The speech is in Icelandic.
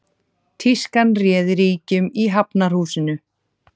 Tískan réði ríkjum í Hafnarhúsinu